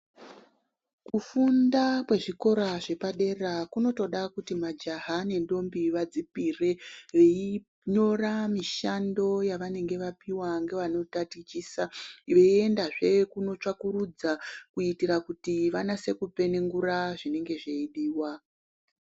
Kufunda kwezvikora zvepadera kunotoda kuti majaha nendombi vadzipire. Veinyora mishando yavanenge vapiva nevanotatichisa veiendazve kunotsvakurudza. Kuitira kuti vanase kupenengura zvinenge zveidiva.